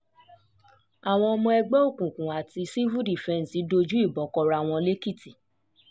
àwọn ọmọ ẹgbẹ́ um òkùnkùn àti sífù fífẹ́ǹsì dojú um ìbọn kóra wọn lẹ́kìtì